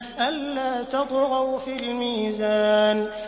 أَلَّا تَطْغَوْا فِي الْمِيزَانِ